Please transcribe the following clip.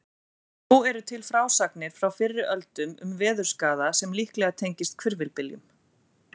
Þó eru til frásagnir frá fyrri öldum um veðurskaða sem líklega tengist hvirfilbyljum.